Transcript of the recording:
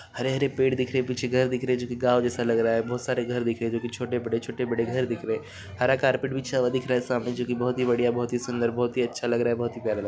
हरे-हरे पेड़ दिख रहे हैं पीछे घर दिख रहे हैं जो कि गांव जैसे दिख रहे है बहुत सारे गांव दिख रहे हैं छोटे-बड़े छोटे-बड़े घर दिख रहे हैं हरा कारपेट बिछा हुआ है दिख रहा है सामने जो की बहुत ही बढ़िया बहुत ही सुंदर बहुत ही अच्छा बहुत ही प्यारा लग --